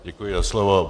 Děkuji za slovo.